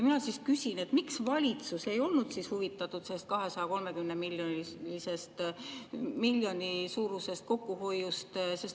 Mina küsin, miks valitsus ei olnud huvitatud sellest 230 miljoni suurusest kokkuhoiust.